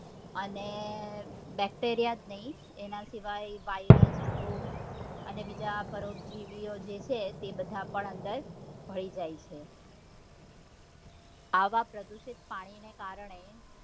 અને bacteria જ નઈ એના સિવાય virus ફૂગ અને બીજા પરોપજીવી ઓ જે છે તે બધા પણ અંદર ભળી જાય છે આવા પ્રદુષિત પાણી ને કારણે